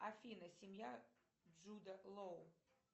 афина семья джуда лоу